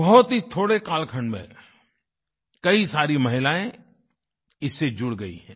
बहुत ही थोड़े कालखंड में कई सारी महिलाएँ इससे जुड़ गयी हैं